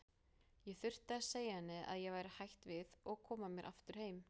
Ég þurfti að segja henni að ég væri hætt við og koma mér aftur heim.